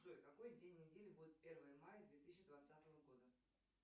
джой какой день недели будет первое мая две тысячи двадцатого года